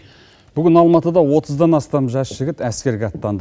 бүгін алматыда отыздан астам жас жігіт әскерге аттанды